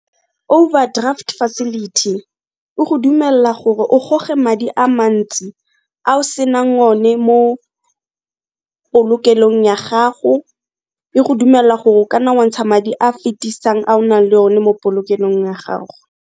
Overdraft facility e go dumella gore o goge madi a mantsi a o senang o ne mo polokelong ya gago, e go dumella gore o ka na wa ntsha madi a fitisang a o nang le o ne mo polokelong ya gago.